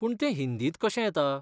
पूण तें हिंदींत कशें येता?